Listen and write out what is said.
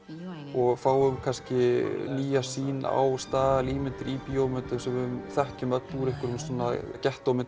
og fáum kannski nýja sýn á staðalímyndir í bíómyndum sem við þekkjum öll úr